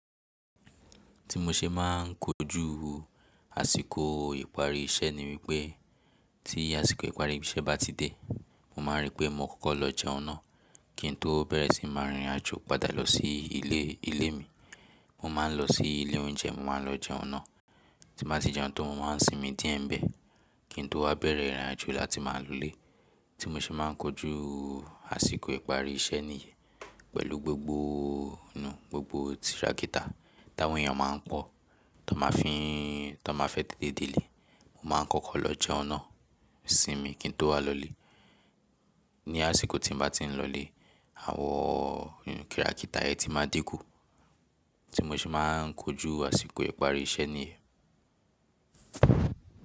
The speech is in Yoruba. Ti mo ṣe máà ń kojú àsìkò ìparí iṣẹ́ ni wípẹ́ tí àsìkò ìparí iṣẹ́ bá ti dé, mo máa rí pé mo kọ́kọ́ lọ jẹun náà kí n tó bẹ̀rẹ̀ sí máa rìnrìn àjò padà lọ sí ilé, ilé mi. Mo máa ń lọ sí ilé oúnjẹ, mo máa ń lọ jẹun náà. Ti mo bá ti jẹun tan, mo máa ń sinmi díẹ̀ bẹ́ẹ̀ kí n tó wá bẹ̀rẹ̀ ìrìn àjò láti máa lọlé. Ti mo ṣe máà ń kojú àsìkò ìparí iṣẹ́ nìyẹn pẹ̀lú gbogbo nù, gbogbo tìràkìtà táwọn èèyàn máa ń pọ̀ tó máa fín, tó máa fẹ́ tètè délé, mo máa kọ́kọ́ lọ jẹun náà sinmi kí n tó wá lọlé. Ni àsìkò tí mo bá ti ń lọlé, àwọn kirakìtà yẹn ti máa dínkù. Ti mo ṣe máà ń kojú àsìkò ìparí iṣẹ́ nìyẹn.